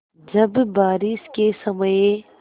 जब बारिश के समय